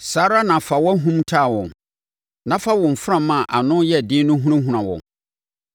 saa ara na fa wʼahum taa wɔn na fa wo mframa a ano yɛ den no hunahuna wɔn.